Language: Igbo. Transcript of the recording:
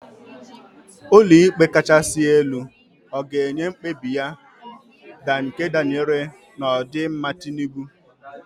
Ulo ikpe kachasi elu ọ ga-enye mkpebi ya nke danyere n'odimma Tinubu?